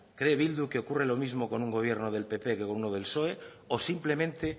cree bildu que ocurre lo mismo con un gobierno del pp que con uno del psoe o simplemente